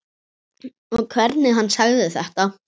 Og hvernig hann sagði þetta.